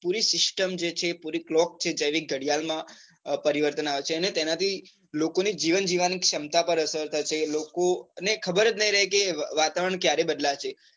પુરી system જે છે, પુરી clock થઇ જવી ગાડ઼િયાલ માં પરિવર્તન આવે છે. અને તેના થી લોકોને જીવન જીવવાની ક્ષમતા પર અસર થશે. લોકો અને ખબર જ નઈ રહે કે વાતાવરણ ક્યારે બદલાશે.